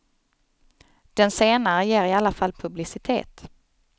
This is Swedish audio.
Den senare ger i alla fall publicitet.